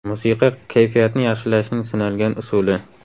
Musiqa kayfiyatni yaxshilashning sinalgan usuli.